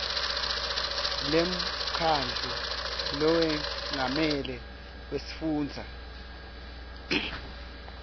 lemkhandlu lowengamele wesifundza